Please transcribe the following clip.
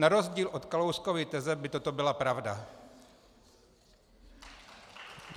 Na rozdíl od Kalouskovy teze by toto byla pravda.